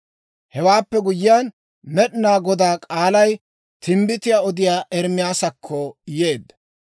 Hewaappe guyyiyaan, Med'inaa Godaa k'aalay timbbitiyaa odiyaa Ermaasakko yeedda.